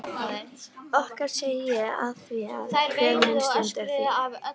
Okkar segi ég afþvíað hver mín stund er þín.